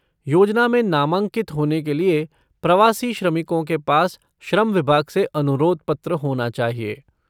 योजना में नामांकित होने के लिए प्रवासी श्रमिकों के पास श्रम विभाग से अनुरोध पत्र होना चाहिए।